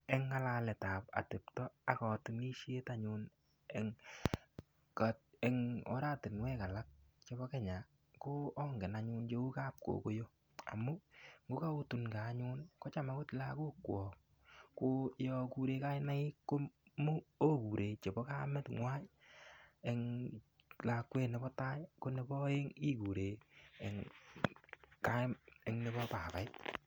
Eng ngalaletab atepto ak katunisiet anyun eng oratinwek alak chebo Kenya ko angen anyun chebo kap kokoyo, amu ngo kaotunkei anyun kocham akot lagokwok ko yo kure kainaik ko okure chebo kamengwai eng lakwet nebo tai ko nebo aeng ikure eng nebo babait.